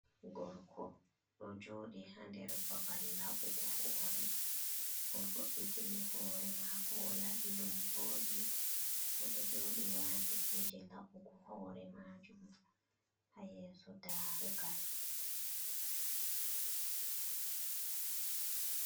Gorko ɗo joɗi ha nder babal laɓugo hore. O'vo’itini hore mako, olaɓi ɗum voɗi oɗo joɗi wati kuje laɓugo hore majum ha yeso darugal.